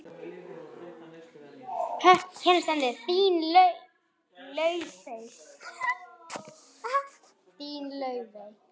Þín, Laufey.